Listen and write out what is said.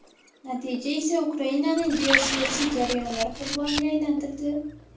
Natija esa Ukrainani geosiyosiy jarayonlar qurboniga aylantirdi.